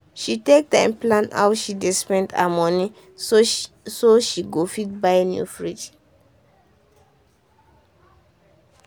she take time plan how she dey spend her moneyso she so she go fit buy new fridge.